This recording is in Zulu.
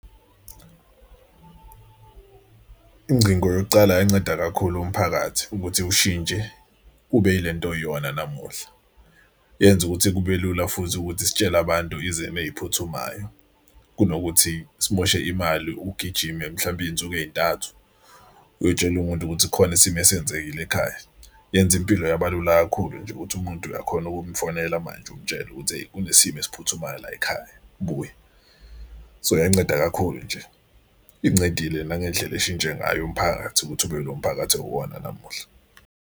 Ingcingo yokucala uyayinceda kakhulu umphakathi ukuthi ushintshe ube ile nto oyiyona namuhla. Yenza ukuthi kube lula futhi ukuthi sitshele abantu izimo ey'phuthumayo kunokuthi simoshe imali ugijime mhlampe insuku ey'ntathu uyotshela umuntu ukuthi khona isimo esenzekile ekhaya. Yenza impilo yabalula kakhulu nje ukuthi umuntu uyakhona ukumufonela manje umtshela ukuthi eyi kunesimo esiphuthumayo layikhaya buya. So yanceda kakhulu nje, incedile nangendlela eshintshe ngayo umphakathi ukuthi ube ilo mphakathi oyiwona namuhla.